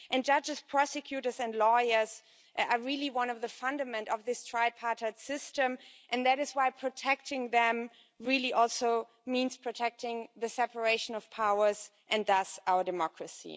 Judges, prosecutors and lawyers are one of the fundaments of this tripartite system, and that is why protecting them really also means protecting the separation of powers, and thus our democracy.